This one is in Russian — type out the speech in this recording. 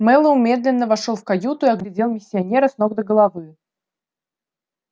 мэллоу медленно вошёл в каюту и оглядел миссионера с ног до головы